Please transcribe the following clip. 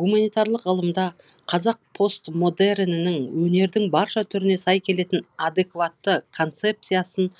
гуманитарлық ғылымда қазақ постмодернінің өнердің барша түріне сай келетін адекватты концепциясын